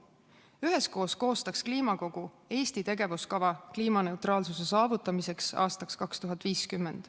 Üheskoos koostaks kliimakogu tegevuskava Eesti kliimaneutraalsuse saavutamiseks aastaks 2050.